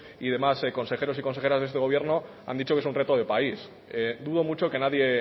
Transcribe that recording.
y demás consejeros y consejeras de este gobierno han dicho que es un reto de país dudo mucho que nadie